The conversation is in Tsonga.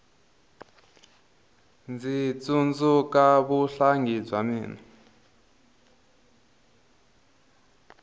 ndzi tsundzuka vuhlangi bya mina